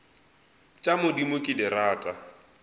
tša modimo ke di rata